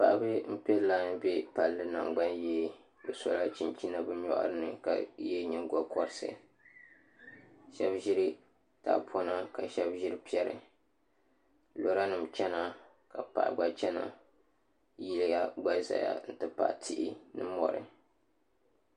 Paɣaba n pɛ lai bɛ palli nangbani yee bi sola chinchina bi nyori ni ka yɛ nyingokoriti shab ʒiri tahapona ka shab ʒiri piɛri lora nim chɛna ka paɣa gba chɛna yiya ʒɛya n ti pahi tihi ni mori